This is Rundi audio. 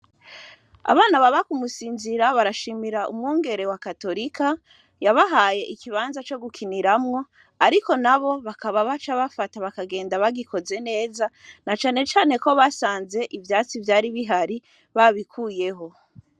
Abana baba kumusinzira barashimira umwongere wa katolika yabahaye ikibanza co gukiniramwo, ariko na bo bakaba baca bafata bakagenda bagikoze neza na canecane ko basanze ivyatsi vyari bihari babikuyeho.